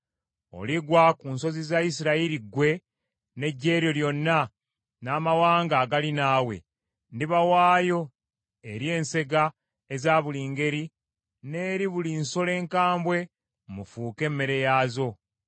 Oligwa ku nsozi za Isirayiri ggwe n’eggye lyo lyonna n’amawanga agali naawe; ndibawaayo eri ensega eza buli ngeri n’eri buli nsolo enkambwe mufuuke emmere yaazo.